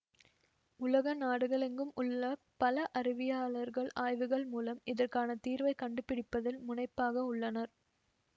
உலக நாடுகளெங்கும் உள்ள பல அறிவயாளர்கள் ஆய்வுகள் மூலம் இதற்கான தீர்வைக் கண்டு பிடிப்பதில் முனைப்பாக உள்ளனர்